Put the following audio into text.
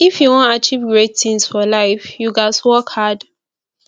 if you wan achieve great things for life you ghas work hard